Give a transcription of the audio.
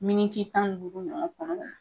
Miniti tan ni duuru ɲɔgɔn kɔnɔna